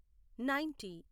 ninety